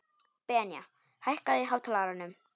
Benía, hækkaðu í hátalaranum.